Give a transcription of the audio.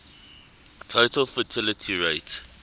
total fertility rate